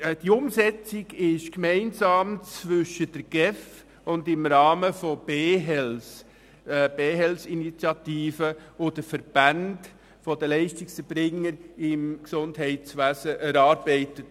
Die Umsetzung wurde im Rahmen der «BeHealth-Initiative» von der GEF und den Verbänden der Leistungserbringer im Gesundheitswesen gemeinsam erarbeitet.